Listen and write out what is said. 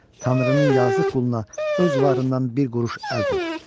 Tanrının yazıq quluna öz varından bir quruş əl tut.